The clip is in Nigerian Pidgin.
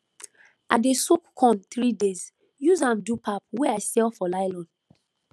i dey soak corn 3 days use am do pap wey i sell for nylon